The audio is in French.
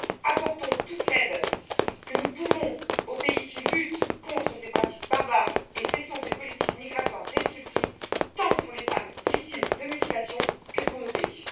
Apportons toute l'aide que nous pouvons aux pays qui luttent contre ces pratiques barbares et cessons cette politique migratoire destructrice, tant pour les femmes victimes de mutilations que pour nos pays.